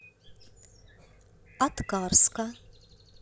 аткарска